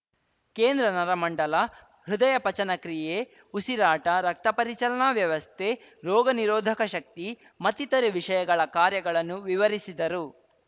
ಕೇಂದ್ರ ನರಮಂಡಲ ಹೃದಯ ಪಚನ ಕ್ರಿಯೆ ಉಸಿರಾಟ ರಕ್ತ ಪರಿಚಲನಾ ವ್ಯವಸ್ತೆ ರೋಗ ನಿರೋಧಕ ಶಕ್ತಿ ಮತ್ತಿತರೆ ವಿಷಯಗಳ ಕಾರ್ಯಗಳನ್ನು ವಿವರಿಸಿದರು